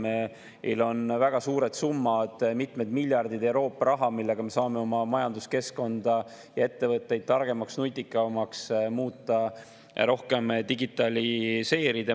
Meil on väga suured summad, mitmed miljardid Euroopa raha, millega me saame oma majanduskeskkonda ja ettevõtteid targemaks, nutikamaks muuta, rohkem digitaliseerida.